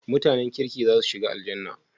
MutAnan kirki zasu shiga Aljannah?